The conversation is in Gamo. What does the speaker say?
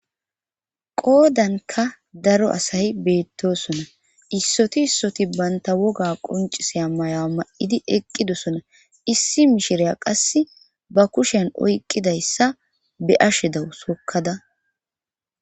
Qoodanka daro asayi beettosona issoti issoti banta woga qonciseya maya ma'idi eqqidosona issi mishireya qasse ba kushen oyqqidayssa be ashedawu sokkada.